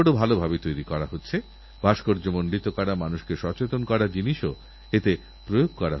priority আলাদা আলাদা হতে পারে কিন্তু পথ একটাই আর সেই পথ হলউন্নয়ন সাম্য সমান সুযোগ সকলকে সমান ভাবা এবং সকলকে নিজের ভাবা